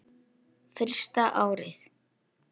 Fyrsta árið.